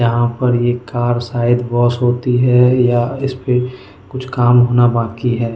यहां पर ये कार शायद वॉश होती है या इसपे कुछ काम होना बाकी है।